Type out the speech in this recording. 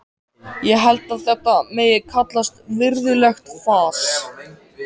Ég held að þetta megi kallast virðulegt fas.